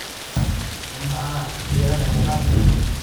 amaa iyata emukate?